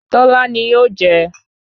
Tọ́lá ni yóò jẹ́